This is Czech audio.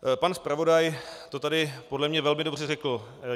Pan zpravodaj to tady podle mě velmi dobře řekl.